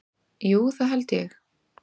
Jú, það held ég